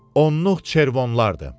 Onluq çervonlardır.